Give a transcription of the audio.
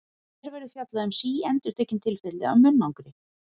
Hér verður fjallað um síendurtekin tilfelli af munnangri.